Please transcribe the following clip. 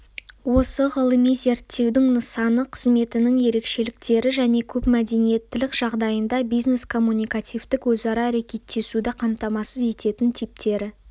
осы ғылыми зерттеудің нысаны қызметінің ерекшеліктері және көпмәдениеттілік жағдайында бизнес-коммуникативтік өзара әрекеттесуді қамтамасыз ететін типтері